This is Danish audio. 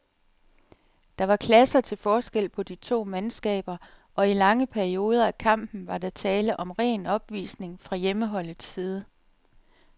Der var klasser til forskel på de to mandskaber, og i lange perioder af kampen var der tale om ren opvisning fra hjemmeholdets side.